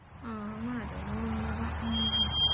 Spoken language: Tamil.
ஆமா அது என்னமோ உண்மைதான் உம்